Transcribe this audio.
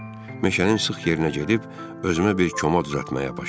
Meşənin sıx yerinə gedib özümə bir koma düzəltməyə başladım.